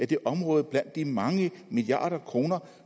det område blandt de mange milliarder kroner